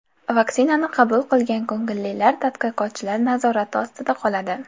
Vaksinani qabul qilgan ko‘ngillilar tadqiqotchilar nazorati ostida qoladi.